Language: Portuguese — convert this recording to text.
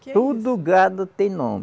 Tudo gado tem nome.